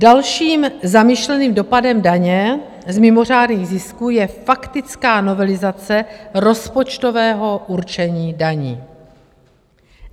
Dalším zamýšleným dopadem daně z mimořádných zisků je faktická novelizace rozpočtového určení daní.